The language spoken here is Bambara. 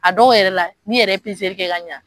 A dɔw yɛrɛ la n'iyɛrɛ ye kɛ ka ɲa.